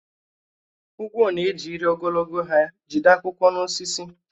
Ugwo na-eji ire ogologo ha jide akwụkwọ n’osisi.